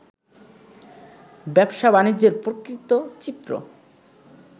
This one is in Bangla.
ব্যবসা-বাণিজ্যের প্রকৃত চিত্র